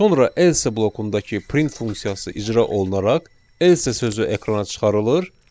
Sonra else blokundakı print funksiyası icra olunaraq else sözü ekrana çıxarılır.